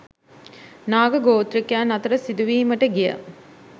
නාග ගෝත්‍රිකයින් අතර සිදුවීමට ගිය